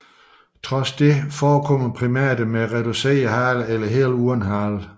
Trods dette forekommer primater med reduceret hale eller helt uden hale